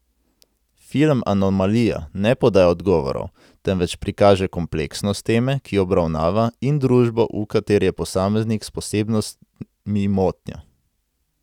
Film Anomalija ne podaja odgovorov, temveč prikaže kompleksnost teme, ki jo obravnava, in družbo, v kateri je posameznik s posebnostmi motnja.